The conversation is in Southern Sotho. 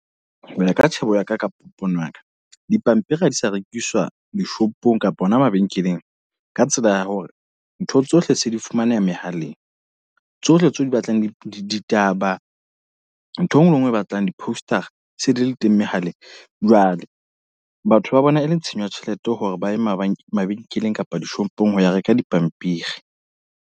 Hoya ka tjhebo ya ka, ka pono ya ka. Dipampiri ha di sa rekiswa dishopong kapa hona mabenkeleng. Ka tsela ya hore, ntho tsohle se di fumaneha mehaleng. Tsohle tseo o di batlang di di ditaba ntho e nngwe le e nngwe e batlang di-poster a se di le teng mehaleng. Jwale batho ba bona e le tshenyo ya tjhelete hore ba ye mabakeng mabenkeleng kapa dishopong ho ya reka dipampiri.